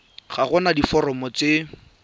ga go na diforomo tse